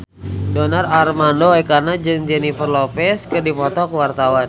Donar Armando Ekana jeung Jennifer Lopez keur dipoto ku wartawan